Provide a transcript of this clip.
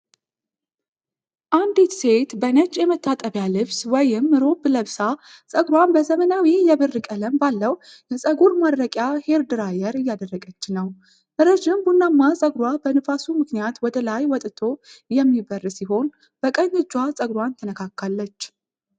አንዲት ሴት በነጭ የመታጠቢያ ልብስ (ሮብ) ለብሳ ፀጉሯን በዘመናዊ የብር ቀለም ባለው የፀጉር ማድረቂያ (ሄር ድራየር) እያደረቀች ነው። ረዥም ቡናማ ጸጉሯ በንፋሱ ምክንያት ወደ ላይ ወጥቶ የሚበር ሲሆን፣ በቀኝ እጇ ጸጉሯን ትነካካለች።